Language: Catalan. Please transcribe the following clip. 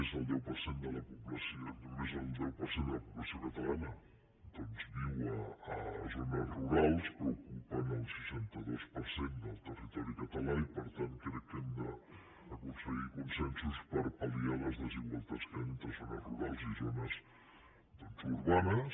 és cert que només el deu per cent de la població catalana doncs viu a zones rurals però ocupen el seixanta dos per cent del territori català i per tant crec que hem d’aconseguir consensos per pal·liar les desigualtats que hi ha entre zones rurals i zones urbanes